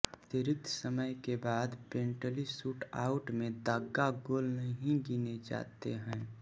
अतिरिक्त समय के बाद पेनल्टी शूटआउट में दागा गोल नहीं गिने जाते हैं